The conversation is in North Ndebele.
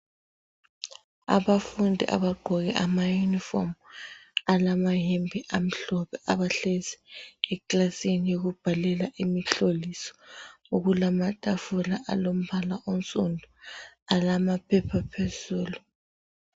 Abafundi abagqoke amayunifomu alamayembe amhlophe abahlezi ekilasini yokubhalela imihloliso okulamatafula alombala onsundu alamaphepha phezulu.